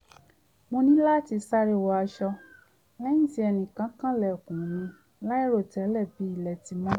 mo ní láti sáré wọ aṣọ lẹ́yìn tí ẹnìkan kan ilẹ̀kùn mi láìròtẹ́lẹ̀ bí ilẹ̀ ti n mọ́